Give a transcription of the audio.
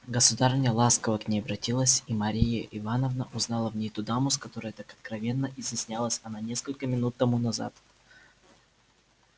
государыня ласково к ней обратилась и мария ивановна узнала в ней ту даму с которой так откровенно изъяснялась она несколько минут тому назад